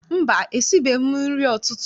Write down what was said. Mba, esibeghị m nri ụtụtụ.